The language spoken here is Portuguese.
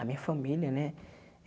A minha família, né?